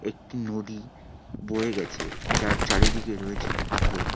একটি নদী বয়ে গেছে যার চারিদিকে রয়েছে পাথর।